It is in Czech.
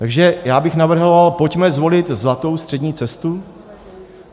Takže já bych navrhoval, pojďme zvolit zlatou střední cestu.